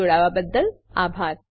જોડાવાબદ્દલ આભાર